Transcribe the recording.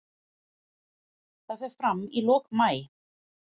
Það fer fram í lok maí.